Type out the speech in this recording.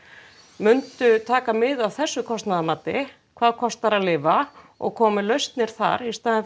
myndu taka mið af þessu kostnaðarmati hvað kostar að lifa og koma með lausnir þar í stað